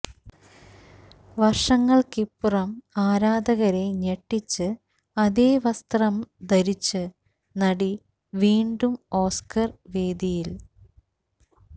വര്ഷങ്ങള്ക്കിപ്പുറം ആരാധകരെ ഞെട്ടിച്ച് അതേ വസ്ത്രം ധരിച്ച് നടി വീണ്ടും ഓസ്കര് വേദിയില്